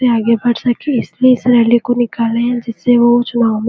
आगे बढ़ सके इस लिए इस रैली को निकाले है इस से वो जो --